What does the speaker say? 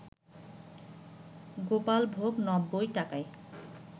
গোপালভোগ ৯০ টাকায়